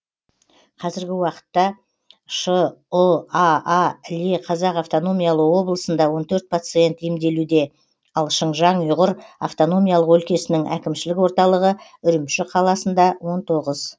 қазіргі уақытта шұаа іле қазақ автономиялы облысында он төрт пациент емделуде ал шыңжаң ұйғыр автономиялық өлкесінің әкімшілік орталығы үрімші қаласында он тоғыз